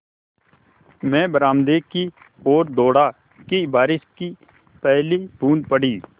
मैं बरामदे की ओर दौड़ा कि बारिश की पहली बूँद पड़ी